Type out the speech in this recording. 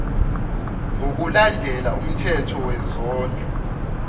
ngokulandela umthetho wezondlo